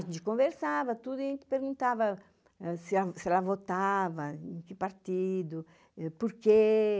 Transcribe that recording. A gente conversava, tudo, e a gente perguntava se ela votava, em que partido, por quê.